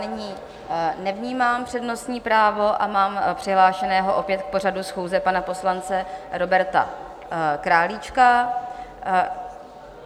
Nyní nevnímám přednostní právo a mám přihlášeného opět k pořadu schůze pana poslance Roberta Králíčka.